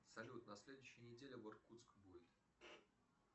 салют на следующей неделе в иркутск будет